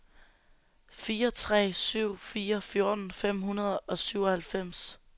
fire tre syv fire fjorten fem hundrede og syvoghalvfems